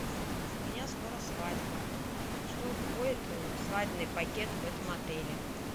у меня скоро свадьба что входит в свадебный пакет в этом отеле